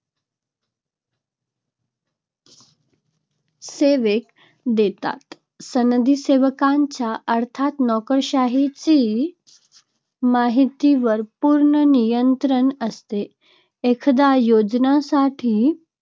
सेवक देतात. सनदी सेवकांचे अर्थात नोकरशाहीचे माहितीवर पूर्ण नियंत्रण असते. एखाद्या योजनासाठी